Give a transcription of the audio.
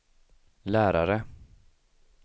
lärare